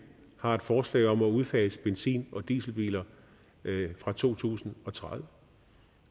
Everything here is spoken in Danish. har et forslag om at udfase benzin og dieselbiler fra to tusind og tredive